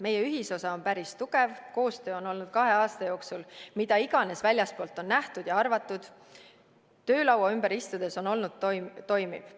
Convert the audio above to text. Meie ühisosa on ju päris tugev ja ka koostöö on olnud kahe aasta jooksul – mida iganes väljastpoolt on nähtud ja arvatud – töölaua ümber istudes olnud toimiv.